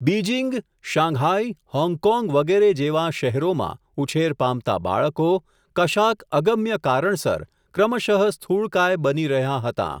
Beijing, Shanghai, Hong Kong વગેરે જેવાં શહેરોમાં, ઉછેર પામતાં બાળકો કશાક અગમ્ય કારણસર, ક્રમશઃ સ્થૂળકાય બની રહ્યાં હતાં.